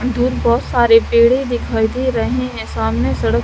अं दूर बहुत सारे पेड़े दिखाई दे रहे है सामने सड़क--